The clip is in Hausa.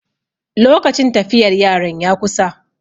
lokacin tafiyar yaran ya kusa